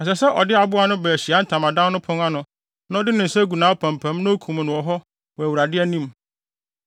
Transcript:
Ɛsɛ sɛ ɔde aboa no ba Ahyiae Ntamadan no pon ano na ɔde ne nsa gu nʼapampam na okum no wɔ hɔ wɔ Awurade anim.